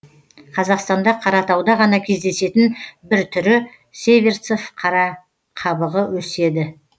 қазақстанда қаратауда ғана кездесетін бір түрі северцов қарақабығы өседі